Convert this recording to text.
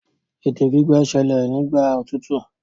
ète gbígbẹ ṣẹlẹ Igba otutu.